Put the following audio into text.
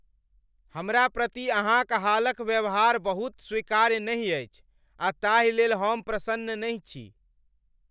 हमरा प्रति अहाँक हालक व्यवहार बहुत स्वीकार्य नहि अछि आ ताहि लेल हम प्रसन्न नहि छी।